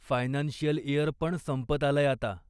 Financial year पण संपत आलंय आता.